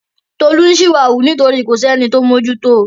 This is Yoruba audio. Tolú ń ṣìwàwù nítorí kò sí ẹni tó ń mójú to.